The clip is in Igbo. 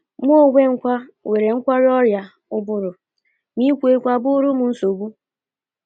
“ Mụ onwe m kwa nwere nkwarụ ọrịa ụbụrụ, ma ikwu okwu abụghịrị m nsogbu.